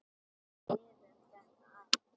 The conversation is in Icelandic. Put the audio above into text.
Við lifum þetta af.